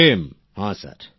প্রেম জী হ্যাঁ স্যার